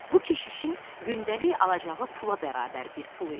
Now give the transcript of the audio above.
Bu keşişin gündəlik alacağı pula bərabər bir pul idi.